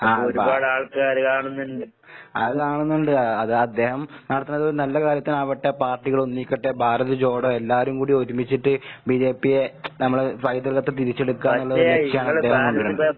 ആഹ് ഭാ അത് കാണുന്നുണ്ട്. അ അത് അദ്ദേഹം നടത്തുന്നതൊര് നല്ല കാര്യത്തിനാവട്ടെ പാർട്ടികളൊന്നിക്കട്ടെ ഭാരത് ജോഡോ എല്ലാരും കൂടി ഒരുമിച്ചിട്ട് ബിജെപിയെ നമ്മള് പൈതൃകത്തെ തിരിച്ചെടുക്കുകാന്നുള്ളൊരു ലക്ഷ്യാണ് ഇദ്ദേഹം കൊണ്ട് വരേണ്ടത്.